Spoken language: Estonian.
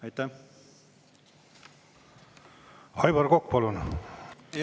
Aivar Kokk, palun!